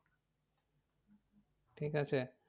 ঠিক আছে।